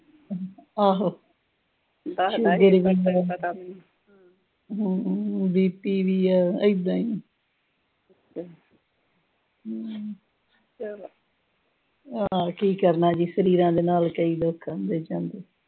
Sugar ਵੀ ਆ। ਹਮ ਵੀ ਆ, ਏਦਾਂ ਈ ਹਮ ਆਹੋ ਕੀ ਕਰਨਾ ਜੀ, ਸਰੀਰਾਂ ਦੇ ਨਾਲ ਕਈ ਦੁੱਖ ਆਉਂਦੇ ਜਾਂਦੇ।